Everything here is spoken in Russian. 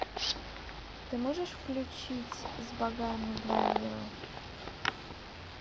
ты можешь включить с богами два мира